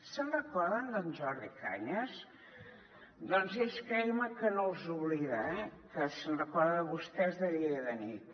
se’n recorden d’en jordi cañas doncs ell creguin me que no els oblida eh que se’n recorda de vostès de dia i de nit